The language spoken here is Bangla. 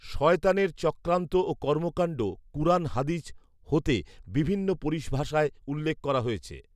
শয়তানের চক্রান্ত ও কর্মকাণ্ড কুরান হাদীছ হ’তে বিভিন্ন পরিভাষায় উল্লেখ করা হয়েছে